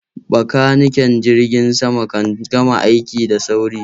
Bakaniken Jirgin sama kan gama aiki da sauri.